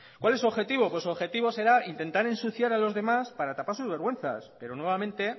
cuál es su objetivo su objetivo será intentar ensuciar a los demás para tapar sus vergüenzas pero nuevamente